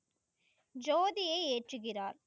ஜோதியை ஏற்றுகிறார்.